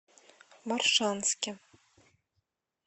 моршанске